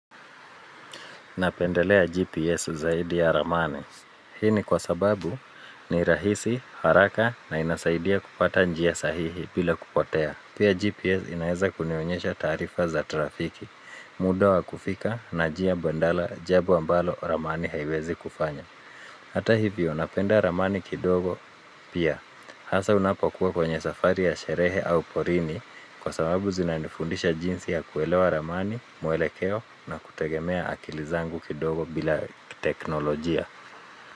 Napendelea GPS zaidi ya ramani. Hii ni kwa sababu ni rahisi, haraka na inasaidia kupata njia sahihi bila kupotea. Pia GPS inaeza kunionyesha taarifa za trafiki, muda wa kufika na njia mbadala jambo ambalo ramani haiwezi kufanya. Hata hivyo napenda ramani kidogo pia, hasa unapokuwa kwenye safari ya sherehe au porini kwa sababu zinanifundisha jinsi ya kuelewa ramani, muelekeo na kutegemea akili zangu kidogo bila teknolojia.